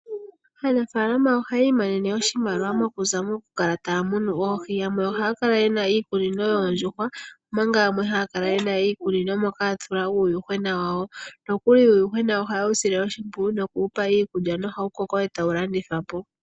Aanafaalama ohayi imonene oshimaliwa mokuza mokukala taya munu oohi, yamwe ohaya kala yena iikunino yoondjuhwa omanga yamwe haya kala yena iikunino moka haya tula uuyuhwena wawo. Nokuli uuyuhwena oha yewu sile oshimpwiyu noku wupa iikulya nohawu koko eta tawu landithapo.